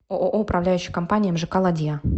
ооо управляющая компания мжк ладья